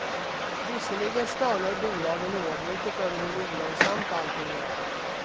Visserligen stönar bolagen oavbrutet över hur olönsamt allting är.